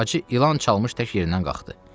Hacı ilan çalmış tək yerindən qalxdı.